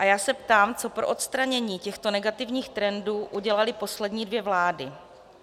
A já se ptám, co pro odstranění těchto negativních trendů udělaly poslední dvě vlády.